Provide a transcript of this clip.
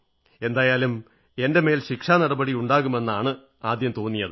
എന്തായാലും എന്റെ മേൽ ശിക്ഷാനടപടി ഉണ്ടാകുമെന്നാണ് ആദ്യം തോന്നിയത്